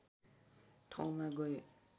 ठाउँमा गए